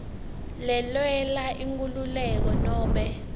lelwela inkhululeko nobe